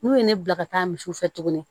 N'u ye ne bila ka taa misiw fɛ tuguni